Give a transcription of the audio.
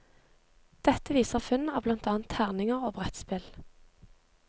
Dette viser funn av blant annet terninger og brettspill.